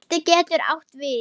Belti getur átt við